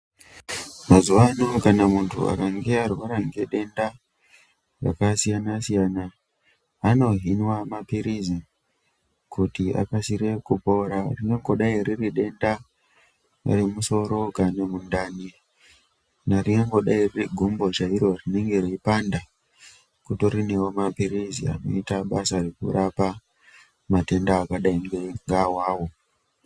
Mazuwa ano kana munhu akange arwara ngedenda rakasiyanasiyana anohinwa mapilizi kuti akasire kupora zvinongodai riridenda remusoro kana mundani kana ringangodai riri gumbo chairo rinenge reipanda kutoriwo nemapilizi anoita basa rekurapa matenda akadai ngeawawo.